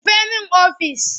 Rufe min ofis!